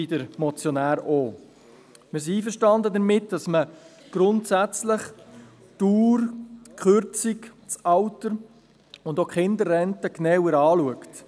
Wir sind einverstanden damit, dass man grundsätzlich die Dauer, die Kürzung, das Alter und auch die Kinderrenten genauer anschaut.